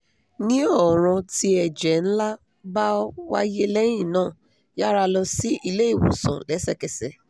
ni ọran ti ẹjẹ nla ba waye lẹyin naa yara lọ si ile-iwosan lẹsẹkẹsẹ